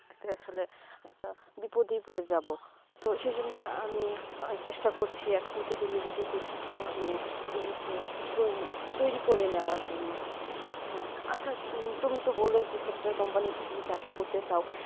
এইটা বিপত্তি পরে যাবো তো সেই জন্যে আমি চেষ্টা করছি এখন থেকে নিজে কে পরিচিত মানে নিজে কে তয়রি করা নেবা জন্য হেঁ আচ্ছা তুমি তো বলেছো software company তে তুমি চাকরি করতে চাও